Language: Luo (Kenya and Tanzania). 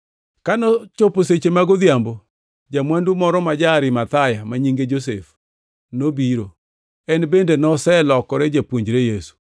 Ka nochopo seche mag odhiambo, ja-mwandu moro ma ja-Arimathaya, ma nyinge Josef nobiro. En bende noselokore japuonjre Yesu.